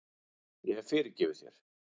Ég hef fyrirgefið þér.